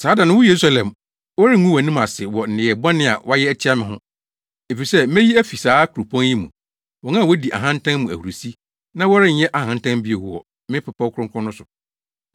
Saa da no, wo Yerusalem, wɔrengu wʼanim ase wɔ nneyɛe bɔne a woayɛ atia me ho, efisɛ meyi afi saa kuropɔn yi mu, wɔn a wodi ahantan mu ahurusi, na worenyɛ ahantan bio wɔ me bepɔw kronkron no so.